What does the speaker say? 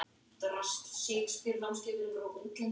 Nú hef ég misst einn.